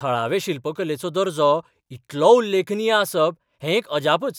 थळावे शिल्पकलेचो दर्जो इतलो उल्लेखनीय आसप हें एक अजापच .